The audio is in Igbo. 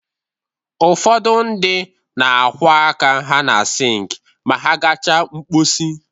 Ụfọdụ ndị na-akwọ aka ha na sink ma ha gachaa mkposi